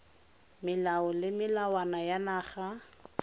melao le melawana ya naga